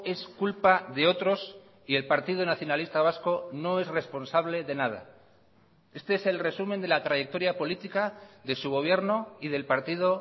es culpa de otros y el partido nacionalista vasco no es responsable de nada este es el resumen de la trayectoria política de su gobierno y del partido